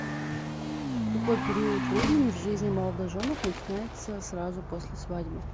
какой период времени в жизни молодоженов начинается сразу после свадьбы